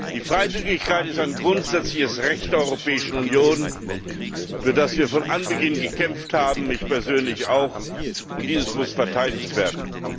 Die Freizügigkeit ist ein grundsätzliches Recht der Europäischen Union, für das wir von Anbeginn gekämpft haben ich persönlich auch und dieses muss verteidigt werden.